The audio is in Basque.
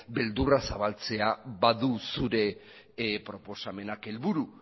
beldurra zabaltzea badu zure proposamenak helburu